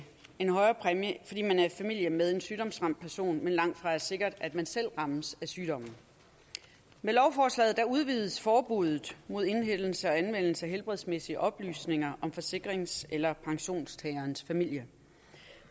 en højere præmie fordi man er i familie med en sygdomsramt person men det langtfra er sikkert at man selv rammes af sygdommen med lovforslaget udvides forbuddet mod indhentelse og anvendelse af helbredsmæssige oplysninger om forsikrings eller pensionstagerens familie